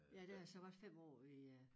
Ja der har jeg så været 5 år i øh